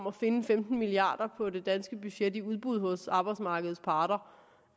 at finde femten milliard kroner på det danske budget i udbud hos arbejdsmarkedets parter